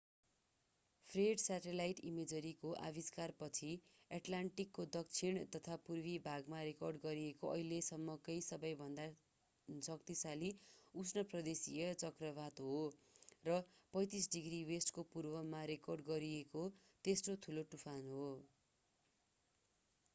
Fred satellite इमेजरीको आविष्कारपछि एटलान्टिकको दक्षिण तथा पूर्वी भागमा रेकर्ड गरिएको अहिलेसम्मकै सबैभन्दा शक्तिशाली उष्ण प्रदेशीय चक्रवात हो र 35°w को पूर्वमा रेकर्ड गरिएको तेस्रो ठुलो तुफान हो।